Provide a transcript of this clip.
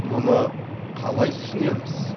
мұны қалай түсінеміз